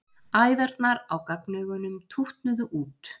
Æðarnar á gagnaugunum tútnuðu út.